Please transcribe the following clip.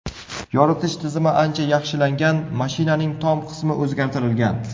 Yoritish tizimi ancha yaxshilangan, mashinaning tom qismi o‘zgartirilgan.